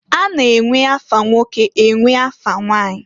A na-enwe afa nwoke enwe afa nwanyi.